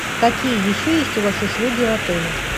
какие еще есть у вас услуги в отеле